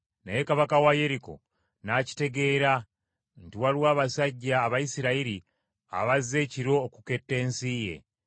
Naye kabaka wa Yeriko n’akitegeera nti waliwo abasajja Abayisirayiri abazze ekiro okuketta ensi ye.